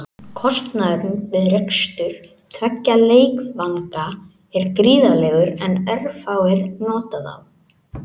Kostnaðurinn við rekstur tveggja leikvanga er gríðarlegur en örfáir nota þá.